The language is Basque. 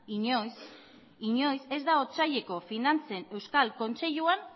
inoiz inoiz ez da otsaileko finantzen euskal kontseiluan